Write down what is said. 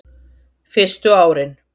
Fyrstu árin